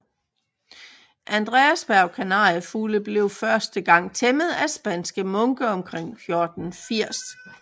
Andreasberg Kanariefugle blev første gang tæmmet af spanske munke omkring 1480